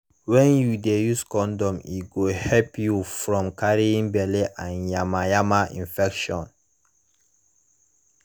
when u de use condom e go help you from carrying belle and yama yama infection